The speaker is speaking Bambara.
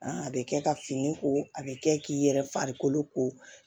a bɛ kɛ ka fini ko a bɛ kɛ k'i yɛrɛ farikolo ko